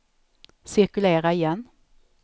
cirkulera igen